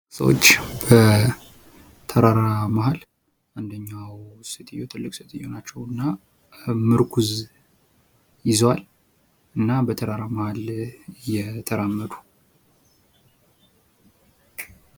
ሰዎች በተራራ መሀል አንደኛው ሴትዮ ትልቅ ሴትዮ ናቸውና ምርኩዝ ይዘዋል። እና በተራራው መሀል እየተራመዱ።